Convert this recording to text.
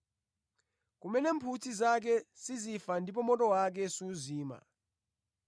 (Kumene mphutsi zake sizifa ndipo moto wake suzima).